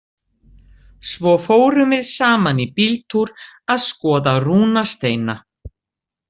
Svo fórum við saman í bíltúr að skoða rúnasteina.